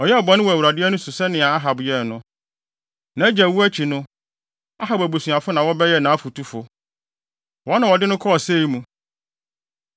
Ɔyɛɛ bɔne wɔ Awurade ani so sɛnea Ahab yɛe no. Nʼagya wu akyi no, Ahab abusuafo na wɔbɛyɛɛ nʼafotufo. Wɔn na wɔde no kɔɔ ɔsɛe mu.